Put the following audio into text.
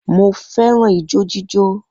Mo fẹ́ràn ijó jíjó